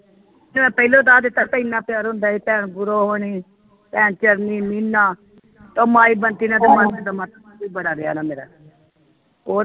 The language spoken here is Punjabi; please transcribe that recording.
ਚੱਲ ਪਹਿਲੋ ਦੱਸ ਦਿੱਤਾਂ ਤੇ ਇੰਨਾ ਪਿਆਰ ਹੁੰਦਾ ਹੀ time ਉਹ ਨੀ ਨੀ ਲੀਲਾ ਉਹ ਮਾਈ ਬੰਟੀ ਨਾਲ ਤੇ ਬੜਾ ਰਿਹਾ ਨਾ ਮੇਰਾ ਉਹ